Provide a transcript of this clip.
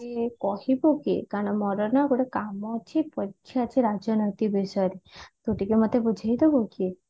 କହିବୁ କି କାରଣ ମୋର ନା ଗୋଟେ କାମ ଅଛି ବୁଝିବାରଅଛି ରାଜନୈତିକ ବିଷୟରେ ତୁ ଟିକେ ମତେ ବୁଝେଇଦବୁ କି